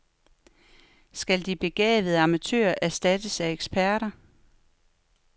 Skal de begavede amatører erstattes af eksperter.